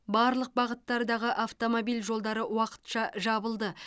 барлық бағыттардағы автомобиль жолдары уақытша жабылды